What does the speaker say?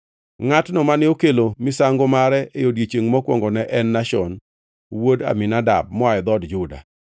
Ngʼatno mane okelo misango mare e odiechiengʼ mokwongo ne en Nashon wuod Aminadab moa e dhood Juda.